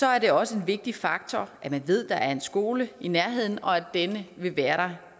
er det også en vigtig faktor at man ved at der er en skole i nærheden og at denne vil være